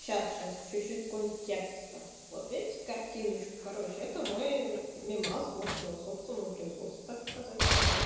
сейчас сейчас чуть чуть контекста вот видите картиночку короче это мой мимас вот собственного производства так сказать